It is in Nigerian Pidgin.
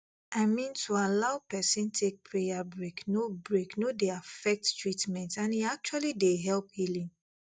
i mean to allow person take prayer break no break no dey affect treatment and e actually dey help healing